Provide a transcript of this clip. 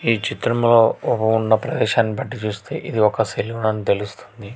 ఈ చిత్రంలో ఓ ఉన్న ప్రదేశం పెట్టి చూస్తే ఇది ఒక సెల్యూట్ అని తెలుస్తుంది.